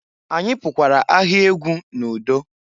Anyị pukwara ahịa egwu n'udo.